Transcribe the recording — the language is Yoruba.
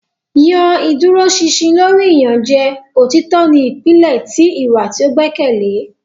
yan iduroṣinṣin lori iyanjẹ; Otitọ ni ipilẹ ti iwa ti o gbẹkẹle.